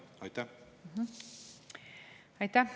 Aitäh!